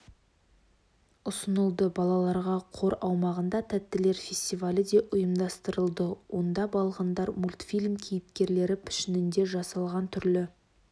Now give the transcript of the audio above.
ұсынылды балаларға қор аумағында тәттілер фестивалі де ұйымдастырылды онда балғындар мультфильм кейіпкерлері пішінінде жасалған түрлі